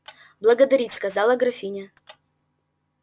благодарить сказала графиня